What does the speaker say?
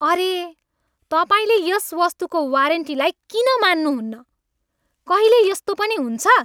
अरे! तपाईँले यस वस्तुको वारेन्टीलाई किन मान्नहुन्न? कहिले यस्तो पनि हुन्छ?